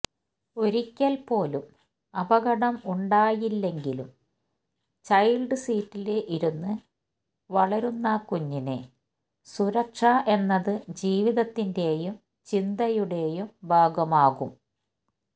ഒരിക്കല് പോലും അപകടം ഉണ്ടായില്ലെങ്കിലും ചൈല്ഡ് സീറ്റില് ഇരുന്നു വളരുന്ന കുഞ്ഞിന് സുരക്ഷ എന്നത് ജീവിതത്തിന്റെയും ചിന്തയുടെയും ഭാഗമാകും